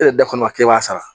E de da kɔni b'e b'a sara